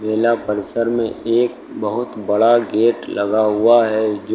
जिला परिषर में एक बहुत बड़ा गेट लगा हुआ है जो--